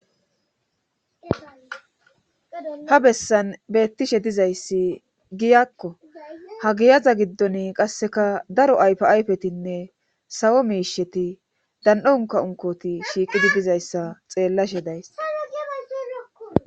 Ha bessan beettishe dizayssi giyakko ha giyaza giddon qasseka daro aypi ayfetinne sawo miisheti dan'o nka unkoti shiiqidi bizayssa xeellashe days.